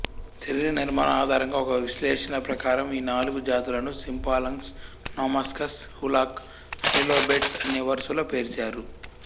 శరీరనిర్మాణం ఆధారంగా ఒక విశ్లేషణ ప్రకారం ఈ నాలుగు జాతులాను సింఫాలంగస్ నోమాస్కస్ హూలాక్ హైలోబేట్స్ అనే వరుసలో పేర్చారు